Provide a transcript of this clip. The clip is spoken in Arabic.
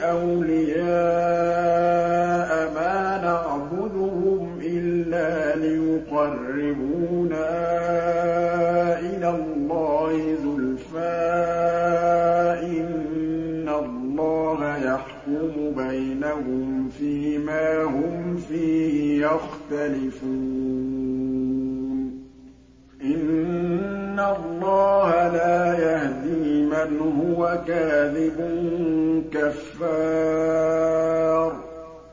أَوْلِيَاءَ مَا نَعْبُدُهُمْ إِلَّا لِيُقَرِّبُونَا إِلَى اللَّهِ زُلْفَىٰ إِنَّ اللَّهَ يَحْكُمُ بَيْنَهُمْ فِي مَا هُمْ فِيهِ يَخْتَلِفُونَ ۗ إِنَّ اللَّهَ لَا يَهْدِي مَنْ هُوَ كَاذِبٌ كَفَّارٌ